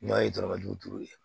N'a ye dɔrɔmɛ duuru ye